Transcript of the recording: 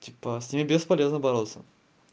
типа с ними бесполезно бороться